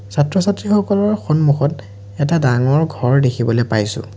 ছাত্ৰ ছাত্ৰীসকলৰ সন্মুখত এটা ডাঙৰ ঘৰ দেখিবলৈ পাইছোঁ।